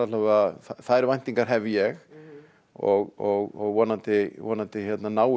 þær væntingar hef ég og vonandi vonandi náum